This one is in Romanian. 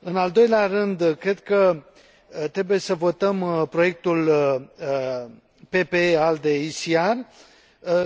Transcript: În al doilea rând, cred că trebuie să votăm proiectul PPE ALDE ECR,